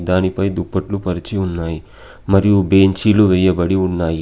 దానిపై దుప్పట్లు పరిచి ఉన్నాయ్. మరియు బెంచీలు వేయబడి ఉన్నాయి.